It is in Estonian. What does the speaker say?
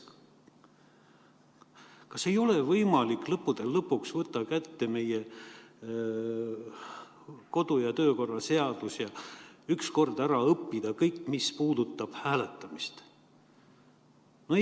Kas ei ole võimalik lõppude lõpuks võtta kätte meie kodu- ja töökorra seadus ja ükskord ära õppida kõik, mis puudutab hääletamist?